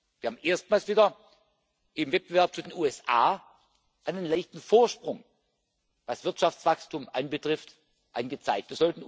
Wir haben erstmals wieder im Wettbewerb zu den USA einen leichten Vorsprung, was Wirtschaftswachstum anbetrifft, angezeigt.